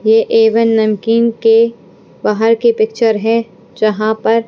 ये A one namkeen के बाहर की पिक्चर है जहाँ पर--